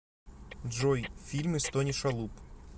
джой фильмы с тони шалуб